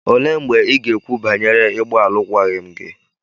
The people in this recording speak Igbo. Olee mgbe ị ga-ekwu banyere ịgba alụkwaghịm gị?